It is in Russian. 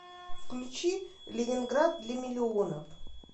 включи ленинград для миллионов